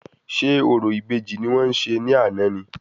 Ṣé orò ìbejì ni wọ́n ṣe ní àná ni?